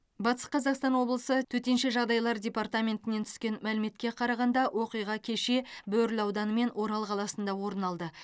батыс қазақстан облысы төтенше жағдайлар департаментінен түскен мәліметке қарағанда оқиға кеше бөрлі ауданы мен орал қаласында орын алды